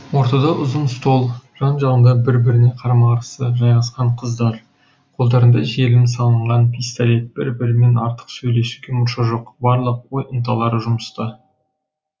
ортада ұзын стол жан жағында бір біріне қарама қарсы жайғасқан қыздар қолдарында желім салынған пистолет бір бірімен артық сөйлесуге мұрша жоқ барлық ой ынталары жұмыста